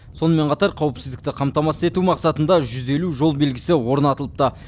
сонымен қатар қауіпсіздікті қамтамасыз ету мақсатында жүз елу жол белгісі орнатылыпты